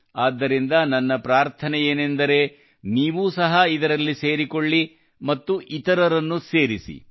ಆದುದರಿಂದ ನನ್ನ ಪ್ರಾರ್ಥನೆಯೇನೆಂದರೆ ನೀವೂ ಸಹ ಇದರಲ್ಲಿ ಸೇರಿಕೊಳ್ಳಿ ಮತ್ತು ಇತರರನ್ನು ಸೇರಿಸಿ